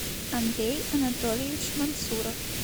андрей анатольевич мансуров